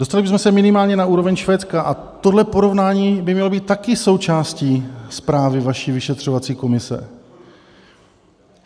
Dostali bychom se minimálně na úroveň Švédska, a tohle porovnání by mělo být také součástí zprávy vaší vyšetřovací komise.